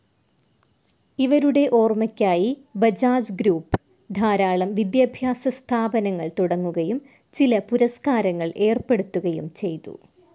ഇവരുടെ ഓർമ്മയ്ക്കായി ബജാജ് ഗ്രൂപ്പ്‌ ധാരാളം വിദ്യാഭ്യാസസ്ഥാപനങ്ങൾ തുടങ്ങുകയും ചില പുരസ്കാരങ്ങൾ ഏർപ്പെടുത്തുകയും ചെയ്തു.